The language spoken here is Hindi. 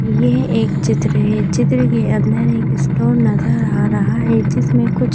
यह एक चित्र है चित्र के अंदर एक स्टोन नजर आ रहा है जिसमें कुछ --